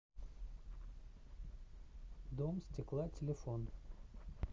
дом стекла телефон